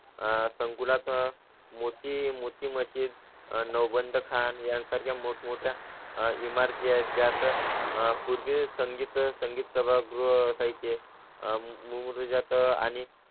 आह संकुलात मोती मोती, मशीद नऊ, बंद खान यांसारख्या मोठ मोठ्या इमारती ज्यात आह पूर्वी संगीत, संगीत सभागृह, साहित्य मुळात आणि